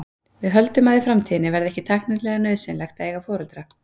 Við höldum að í framtíðinni verði ekki tæknilega nauðsynlegt að eiga foreldra.